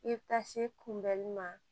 I bɛ taa se kunbɛnli ma